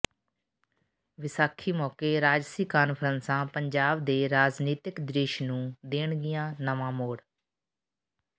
ਵਿਸਾਖੀ ਮੌਕੇ ਰਾਜਸੀ ਕਾਨਫਰੰਸਾਂ ਪੰਜਾਬ ਦੇ ਰਾਜਨੀਤਕ ਦ੍ਰਿਸ਼ ਨੂੰ ਦੇਣਗੀਆਂ ਨਵਾਂ ਮੋੜ